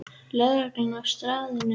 Lögreglan er á staðnum